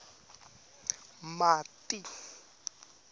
mati